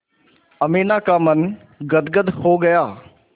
अमीना का मन गदगद हो गया